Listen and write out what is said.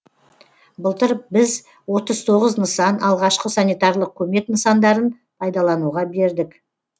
былтыр біз отыз тоғыз нысан алғашқы санитарлық көмек нысандарын пайдалануға бердік